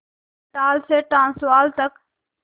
Natal से Transvaal तक